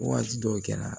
Waati dɔw kɛra